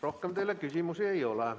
Rohkem teile küsimusi ei ole.